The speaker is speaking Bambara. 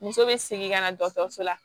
Muso bɛ segin ka na dɔgɔtɔrɔso la